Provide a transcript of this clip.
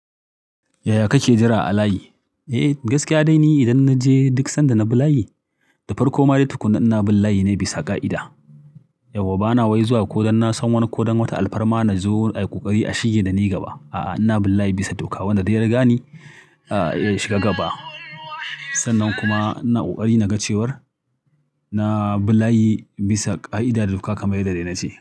Yaya kake jira a layi? Eh, gaskiya dai ni idan na je duk sanda na bi layi. Da farko ma dai tukuna ina bin layi ne bisa ƙa'ida. Yau bana wai zuwa ko don na san wani ko don wata alfarma na zo a yi ƙoƙari a shige da ni gaba. A'a, ina bin layi bisa doka wanda dai yari gan ni, ya shiga gaba. Sannan kuma ina ƙoƙari na gacewar na bi layi bisa ƙa'ida da duka kamar yadda dai na ce.